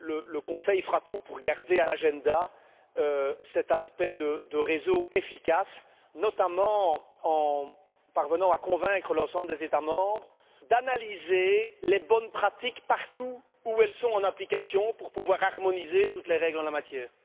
Le Conseil fera tout pour garder à l'ordre du jour cet aspect de réseau efficace, notamment en parvenant à convaincre l'ensemble des États membres d'analyser les bonnes pratiques partout où elles sont en application pour pouvoir harmoniser toutes les règles en la matière.